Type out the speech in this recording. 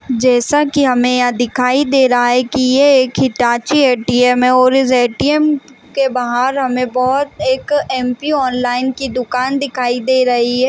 जैसा कि हमें यह दिखाई दे रहा है की ये एक ए_टी_एम् है और इस ऐ_टी_एम् के बाहर हमें बहोत एक एम्_पि ऑनलाइन की दुकान दिखाई दे रही हैं ।